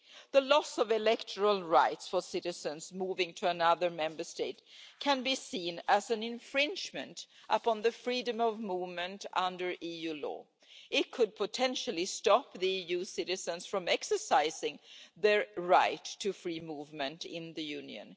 The loss of electoral rights for citizens moving to another Member State can be seen as an infringement upon freedom of movement under EU law. It could potentially stop EU citizens from exercising their right to free movement in the Union.